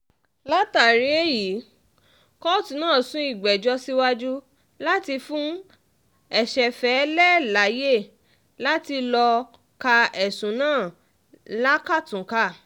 látàrí èyí kóòtù náà sún ìgbẹ́jọ́ síwájú láti fún ẹsẹ̀fẹ·lẹ̀ láàyè láti lọ́ọ̀ ka ẹ̀sùn náà lákàtúnkà